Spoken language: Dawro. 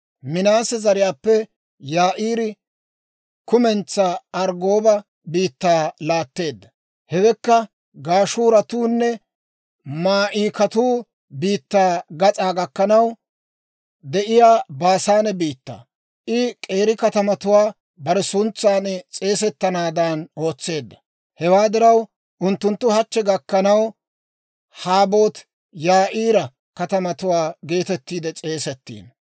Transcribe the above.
Minaase zariyaappe Yaa'iiri, kumentsaa Arggooba biittaa laatteeddo; hewekka Gashuuratunne Maa'ikatuu biittaa gas'aa gakkanaw de'iyaa Baasaane biittaa. I k'eeri katamatuwaa bare suntsan s'eesettanaadan ootseedda; hewaa diraw, unttunttu hachche gakkanaw, Haboot-Yaa'iira katamatuwaa geetetti s'eesettiino.)